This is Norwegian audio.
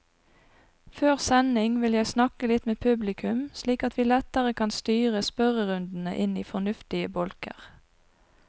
Før sending vil jeg snakke litt med publikum, slik at vi lettere kan styre spørrerundene inn i fornuftige bolker.